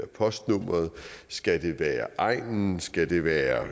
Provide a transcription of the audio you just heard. postnummeret skal det være egnen skal det være